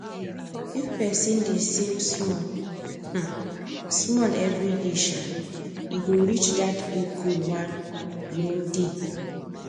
if person dey save small um small every day um e go reach that big goal one you no day